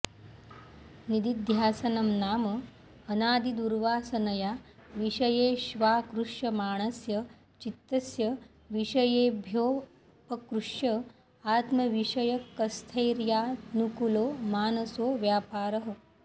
निदिध्यासनं नाम अनादिदुर्वासनया विषयेष्वाकृष्यमाणस्य चित्तस्य विषयेभ्योऽपकृष्य आत्मविषयकस्थैर्यानुकूलो मानसो व्यापारः